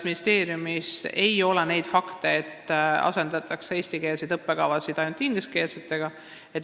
Ministeeriumile ei ole teada neid fakte, nagu eestikeelseid õppekavasid asendataks ainult ingliskeelsetega.